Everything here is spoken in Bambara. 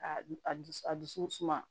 A du a dusu a dusu suma